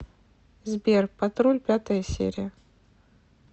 сбер патруль пятая серия